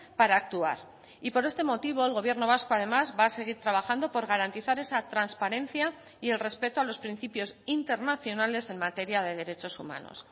para actuar y por este motivo el gobierno vasco además va a seguir trabajando por garantizar esa transparencia y el respeto a los principios internacionales en materia de derechos humanos